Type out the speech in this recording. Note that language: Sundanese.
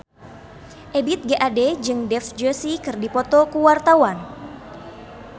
Ebith G. Ade jeung Dev Joshi keur dipoto ku wartawan